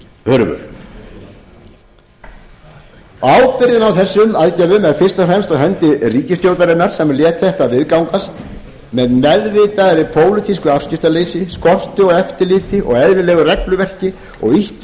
hurfu ábyrgðin á erum aðgerðum er fyrst og fremst á hendi ríkisstjórnarinnar sem lét þetta viðgangast með meðvituðu pólitísku afskiptaleysi skorti á eftirliti og eðlilegu regluverki og ýtti að